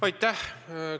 Aitäh!